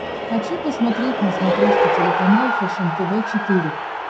хочу посмотреть на смотрешке телеканал фэшен тв четыре к